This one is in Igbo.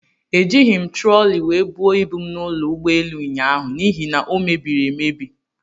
Ejighi m trọli wee buo ibu m n'ụlọ ugboelu ụnyaahụ n'ihi na o mebiri emebi.